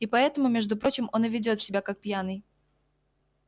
и поэтому между прочим он и ведёт себя как пьяный